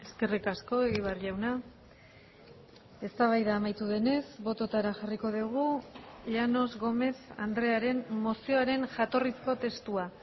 eskerrik asko egibar jauna eztabaida amaitu denez bototara jarriko dugu llanos gómez andrearen mozioaren jatorrizko testua